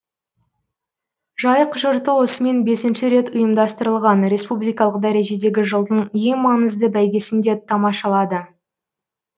жайық жұрты осымен бесінші рет ұйымдастырылған республикалық дәрежедегі жылдың ең маңызды бәйгесін де тамашашалады